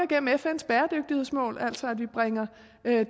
gennem fns bæredygtighedsmål altså at vi bringer